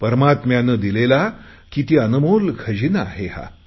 परमात्म्याने दिलेला किती अनमोल खजिना आहे हा